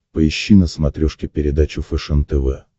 поищи на смотрешке передачу фэшен тв